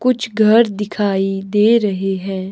कुछ घर दिखाई दे रहे है।